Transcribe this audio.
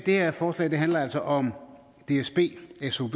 her forslag handler altså om dsb sov